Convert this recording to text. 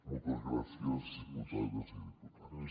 moltes gràcies diputades i diputats